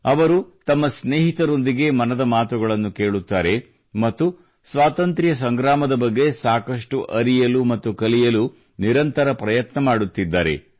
ಅವರು ತಮ್ಮ ಸ್ನೇಹಿತರೊಂದಿಗೆ ಮನದ ಮಾತುಗಳನ್ನು ಕೇಳುತ್ತಾರೆ ಮತ್ತು ಸ್ವಾತಂತ್ರ್ಯ ಸಂಗ್ರಾಮದ ಬಗ್ಗೆ ಸಾಕಷ್ಟು ಅರಿಯಲು ಮತ್ತು ಕಲಿಯಲು ನಿರಂತರ ಪ್ರಯತ್ನ ಮಾಡುತ್ತಿದ್ದಾರೆ